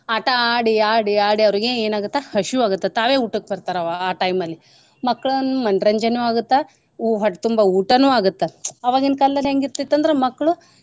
ಆಟಾ ಆಡಿ ಆಡಿ ಆಡಿ ಅವ್ರಗೆ ಏನ್ ಆಗುತ್ತ ಹಶಿವಾಗುತ್ತ ತಾವೇ ಊಟಕ್ ಬರ್ತಾರ್ ಆ time ಲಿ ಮಕ್ಕಳನ್ ಮನರಂಜನೇಯೂ ಆಗುತ್ತ ಹೊಟ್ತುಂಬ ಊಟಾನು ಆಗುತ್ತ ಅವಾಗಿನ್ ಕಾಲ್ದಲ್ಲಿ ಹೆಂಗಿರ್ತಿತ್ ಅಂದ್ರ ಮಕ್ಳು.